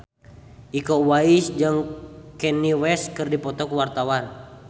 Iko Uwais jeung Kanye West keur dipoto ku wartawan